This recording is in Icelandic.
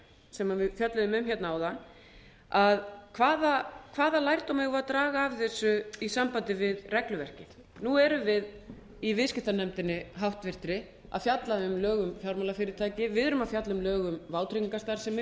sem við fjölluðum um hérna áðan hvaða lærdóm eigum við að draga af þessu í sambandi við regluverkið nú erum við í viðskiptanefndinni háttvirtri að fjalla um lög um fjármálafyrirtæki við erum að fjalla um lög um vátryggingarstarfsemi